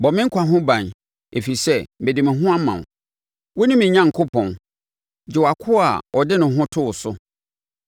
Bɔ me nkwa ho ban, ɛfiri sɛ mede me ho ama wo. Wone me Onyankopɔn, gye wʼakoa a ɔde ne ho to wo so.